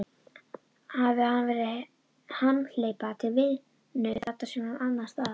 Hafi hann verið hamhleypa til vinnu, þarna sem annars staðar.